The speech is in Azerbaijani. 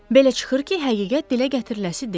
Belə çıxır ki, həqiqət dilə gətiriləsi deyil.